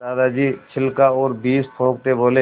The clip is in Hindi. दादाजी छिलका और बीज थूकते बोले